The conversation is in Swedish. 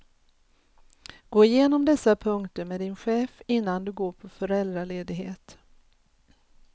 Gå igenom dessa punkter med din chef innan du går på föräldraledighet.